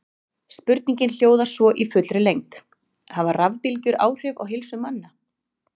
Spurningin hljóðar svo í fullri lengd: Hafa rafbylgjur áhrif á heilsu manna?